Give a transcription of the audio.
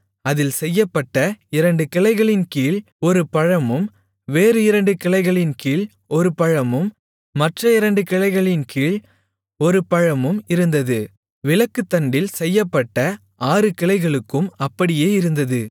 அதில் செய்யப்பட்ட இரண்டு கிளைகளின்கீழ் ஒரு பழமும் வேறு இரண்டு கிளைகளின்கீழ் ஒரு பழமும் மற்ற இரண்டு கிளைகளின்கீழ் ஒரு பழமும் இருந்தது விளக்குத்தண்டில் செய்யப்பட்ட ஆறு கிளைகளுக்கும் அப்படியே இருந்தது